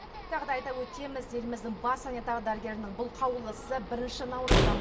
тағы да айта өтеміз еліміздің бас санитар дәрігерінің бұл қаулысы бірінші наурыздан